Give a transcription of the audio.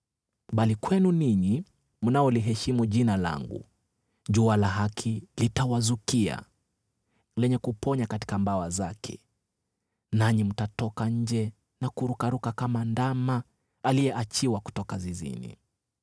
Bali kwenu ninyi mnaoliheshimu Jina langu, jua la haki litawazukia, lenye kuponya katika mabawa yake. Nanyi mtatoka nje na kurukaruka kama ndama aliyeachiwa kutoka zizini.